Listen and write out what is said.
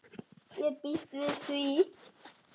Ég býst við því!